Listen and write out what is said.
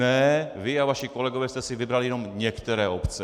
Ne, vy a vaši kolegové jste si vybrali jenom některé obce!